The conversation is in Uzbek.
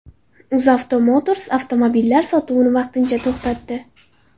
UzAuto Motors avtomobillar sotuvini vaqtincha to‘xtatdi.